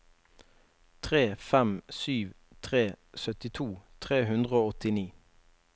tre fem sju tre syttito tre hundre og åttini